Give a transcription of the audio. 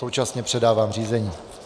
Současně předávám řízení.